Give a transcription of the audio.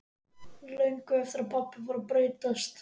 Löngu eftir að pabbi fór að breytast.